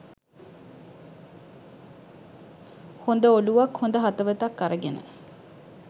හොඳ ඔළුවක් හොඳ හදවතක් අරගෙන.